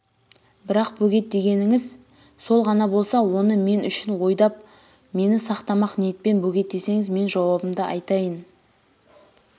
бірақ бөгет дегеніңіз сол ғана болса оңы мең үшін ойдап мені сақтамақ ниетпен бөгет десеңіз мен жауабымды айтайын